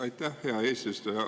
Aitäh, hea eesistuja!